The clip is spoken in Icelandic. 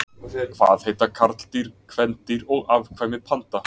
Hvað heita karldýr, kvendýr og afkvæmi panda?